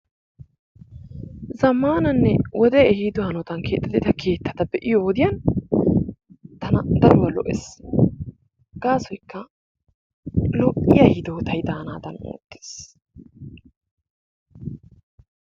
Zammananne wode ehiido hanottan keexettida keettaa be'iyodiyan tana daro lo"ees. Gaasoykka lo"iyaa hidootay danaadan oottees.